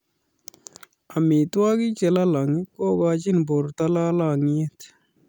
Amitwogik che lolong kokochini borto lolongiet